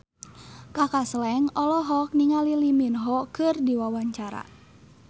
Kaka Slank olohok ningali Lee Min Ho keur diwawancara